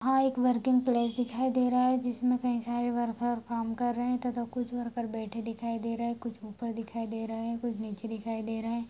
यहाँ एक working place दिखाई दे रहा है जिसमें कई सारे वर्कर काम कर रहें हैं तथा कुछ वर्कर बैठे दिखाई दे रहें हैं कुछ ऊपर दिखाई दे रहें हैं कुछ नीचे दिखाई दे रहें हैं।